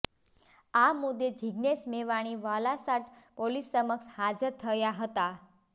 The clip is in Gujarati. આ મુદ્દે જીગ્નેશ મેવાણી વલાસાડ પોલીસ સમક્ષ હાજર થયા હતા